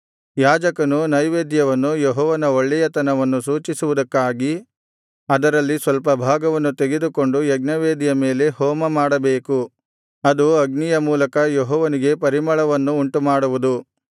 ಯಾಜಕನು ನೈವೇದ್ಯವನ್ನು ಯೆಹೋವನ ಒಳ್ಳೆಯತನವನ್ನು ಸೂಚಿಸುವುದಕ್ಕಾಗಿ ಅದರಲ್ಲಿ ಸ್ವಲ್ಪಭಾಗವನ್ನು ತೆಗೆದುಕೊಂಡು ಯಜ್ಞವೇದಿಯ ಮೇಲೆ ಹೋಮಮಾಡಬೇಕು ಅದು ಅಗ್ನಿಯ ಮೂಲಕ ಯೆಹೋವನಿಗೆ ಪರಿಮಳವನ್ನು ಉಂಟುಮಾಡುವುದು